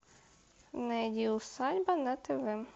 найди усадьба на тв